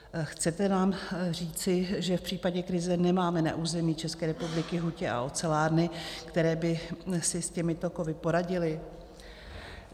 Chcete nám říci, že v případě krize nemáme na území České republiky hutě a ocelárny, které by si s těmito kovy poradily?